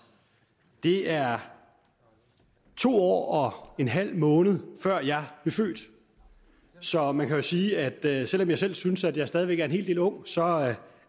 det er to år og en halv måned før jeg blev født så man kan jo sige at selv om jeg selv synes at jeg stadig væk er en hel del ung så